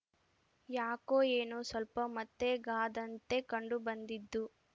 ಯಾಕೋ ಏನೋ ಸ್ವಲ್ಪ ಮತ್ತೆಗಾದಂತೆ ಕಂಡು ಬಂದಿದ್ದು